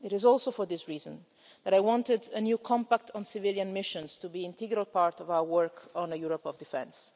It is also for this reason that I wanted a new compact on civilian missions to be an integral part of our work on a Europe of defence.